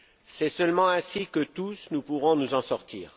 C'est seulement ainsi que, tous, nous pourrons nous en sortir.